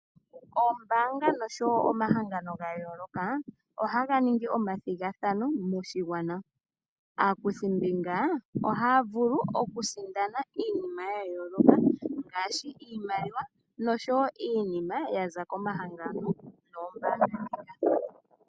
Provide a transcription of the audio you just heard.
Ombaanga nosho wo omahangano ga yooloka ohaga ningi omathigathano moshigwana. Aakuthimbinga ohaya vulu okusindana iinima ya yooloka ngaashi iimaliwa nosho wo iinima ya za komahangano noombaanga ndhika.